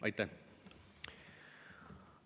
Aitäh!